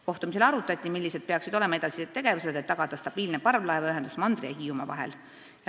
Kohtumisel arutati, millised peaksid olema edasised tegevused, et tagada stabiilne parvlaevaühendus mandri ja Hiiumaa vahel.